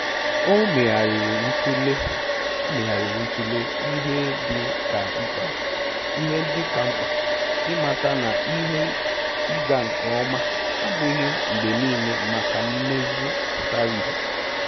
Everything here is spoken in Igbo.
O megharịrị ntule O megharịrị ntule ihe ndị ka mkpa, ịmata na ihe ịga nke ọma abụghị mgbe niile maka mmezu pụtara ihe